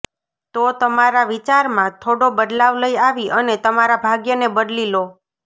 તો તમારા વિચાર માં થોડો બદલાવ લઈ આવી અને તમારા ભાગ્ય ને બદલી લો